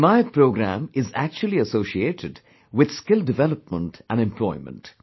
The 'Himayat Programme' is actually associated with skill development and employment